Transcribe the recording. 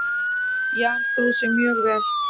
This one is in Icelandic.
Jan stóð sig mjög vel.